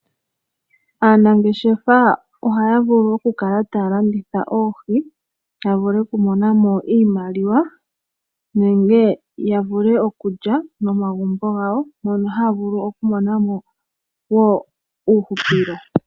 Aanangeshefa ohaya vulu okukala taya landitha oohi ya vule okumona mo iimaliwa nenge ya vule okulya momagumbo gawo mono haya vulu okumona mo wo uuhupilo.